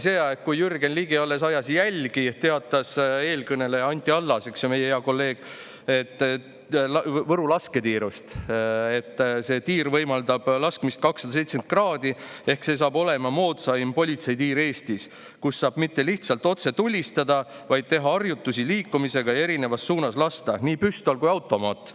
Mäletatavasti ajal, kui Jürgen Ligi alles jälgi ajas, teatas eelkõneleja Anti Allas, meie hea kolleeg, et Võru lasketiir võimaldab lasta 270 kraadi ehk see saab olema moodsaim politsei tiir Eestis, kus saab mitte lihtsalt otse tulistada, vaid teha harjutusi liikumisega ja lasta erinevas suunas nii püstoli kui ka automaadiga.